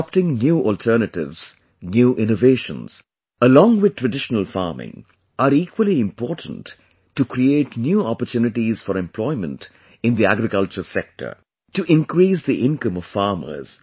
Adopting new alternatives, new innovations, along with traditional farming, are equally important to create new opportunities for employment in the agriculture sector; to increase the income of farmers